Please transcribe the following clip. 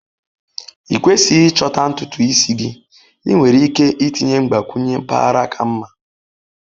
Ịkwesighi ịchọta ntutu isi gị, ị nwere ike itinye mgbakwunye mpaghara kama.